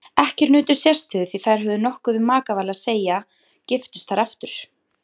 Ekkjur nutu sérstöðu því þær höfðu nokkuð um makaval að segja giftust þær aftur.